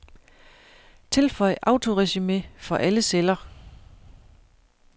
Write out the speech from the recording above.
Tilføj autoresumé for alle celler.